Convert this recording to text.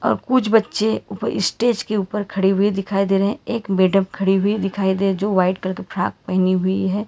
और कुछ बच्चे ऊपर स्टेज के ऊपर खड़े हुए दिखाई दे रहे हैं एक मैडम खड़ी हुई दिखाई दे जो वाइट कलर के फ्रॉक पहनी हुई है।